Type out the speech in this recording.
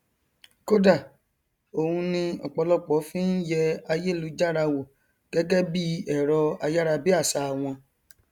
kódà ònu ni ọpọlọpọ fi ń yẹ ayélujára wò gẹgẹ bí ẹrọ ayárabíàṣá wọn